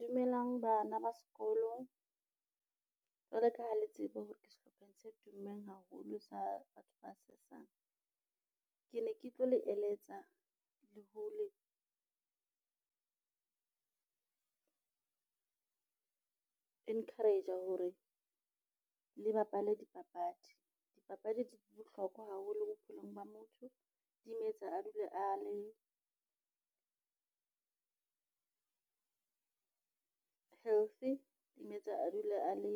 Dumelang bana ba sekolo, jwaloka ha le tsebe hore ke sehlopheng se tummeng haholo sa batho ba sesang. Ke ne ke tlo le eletsa le hole encourager hore le bapale dipapadi. Dipapadi di bohlokwa haholo bophelong ba motho di mo etsa a dule a le healthy, di mo etsa a dule a le